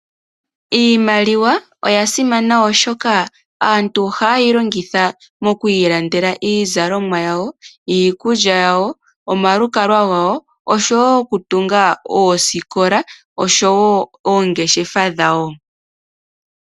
Iimaliwa oya simana, oshoka aantu ohaye yi longitha okuilandela iizalomwa yawo, iikulya, omalukalwa, okutunga oosikola noshowo oongeshefa dhawo.